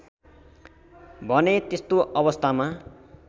भने त्यस्तो अवस्थामा